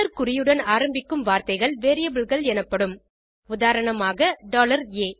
குறியுடன் ஆரம்பிக்கும் வார்த்தைகள் Variableகள் எனப்படும் உதாரணமாக a